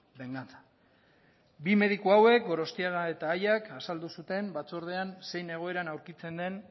venganza bi mediku hauek gorostiaga eta aiak azaldu zuten batzordean zein egoeran aurkitzen den